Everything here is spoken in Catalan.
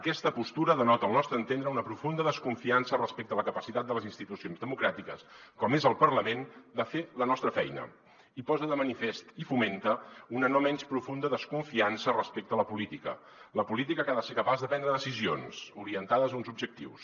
aquesta postura denota al nostre entendre una profunda desconfiança respecte a la capacitat de les institucions democràtiques com és el parlament de fer la nostra feina i posa de manifest i fomenta una no menys profunda desconfiança respecte a la política la política que ha de ser capaç de prendre decisions orientades a uns objectius